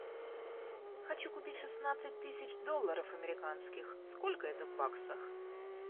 хочу купить шестнадцать тысяч долларов американских сколько это в баксах